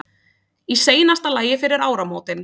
Í seinasta lagi fyrir áramótin.